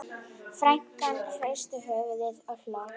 Frænkan hristi höfuðið og hló.